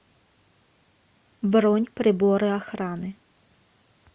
бронь приборы охраны